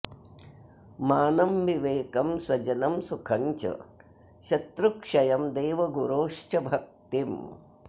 मानं विवेकं स्वजनं सुखं च शत्रुक्षयं देवगुरोश्च भक्तिं